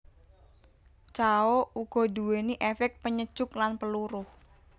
Cao uga nduwéni éfék penyejuk lan peluruh